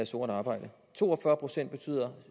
sort arbejde to og fyrre procent